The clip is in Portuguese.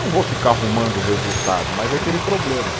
Não vou ficar arrumando o resultado, mas é aquele problema.